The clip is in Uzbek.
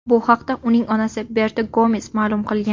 Bu haqda uning onasi Berta Gomes ma’lum qilgan.